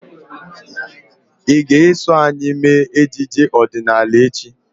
Ị ga-eso anyị mee ejije ọdịnala echi?